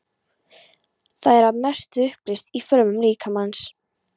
Það er að mestu uppleyst í frumum líkamans.